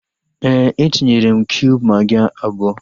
Éè, etinyere m kiub magị abụọ